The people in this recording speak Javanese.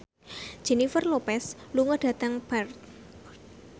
Jennifer Lopez lunga dhateng Perth